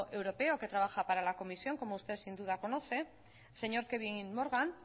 europeo que trabaja para la comisión como usted sin duda conoce el señor kevin morgan